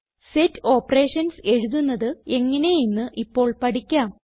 set operations എഴുതുന്നത് എങ്ങനെയെന്ന് ഇപ്പോൾ പഠിക്കാം